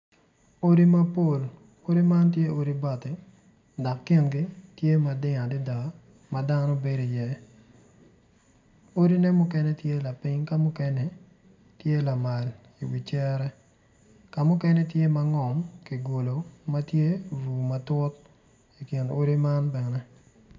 Odi man tye odi bati dok tye ma kingi ding adada dok dano bedo i iye odine mukene tye lapiny ka mukene tye lamal iwi cere kamukene tye ma ngom kigulu matye vu matut ikin odi man bene